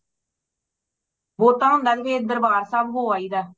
ਬਹੁਤਾ ਹੁੰਦਾ ਏ ਤੇ ਫੇਰ ਦਰਬਾਰ ਸਾਹਿਬ ਹੋ ਆਈਦਾ